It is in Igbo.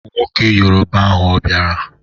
Nwoke yoroba ahụ a biara?